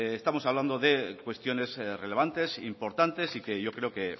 estamos hablando de cuestiones relevantes importantes y que yo creo que